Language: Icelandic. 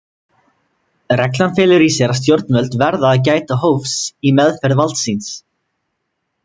Reglan felur í sér að stjórnvöld verða að gæta hófs í meðferð valds síns.